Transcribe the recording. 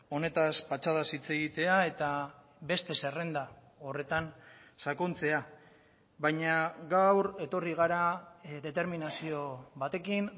honetaz patxadaz hitz egitea eta beste zerrenda horretan sakontzea baina gaur etorri gara determinazio batekin